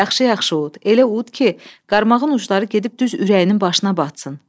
Yaxşı-yaxşı ud, elə ud ki, qarmağın ucları gedib düz ürəyinin başına batsın.